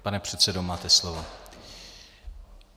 Pane předsedo, máte slovo.